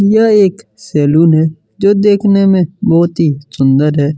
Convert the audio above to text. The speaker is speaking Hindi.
यह एक सैलून है जो देखने में बहुत ही सुंदर है।